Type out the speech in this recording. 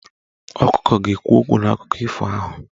Ọkụkọ ga-ekwu okwu n'akụkọ ifo ahụ.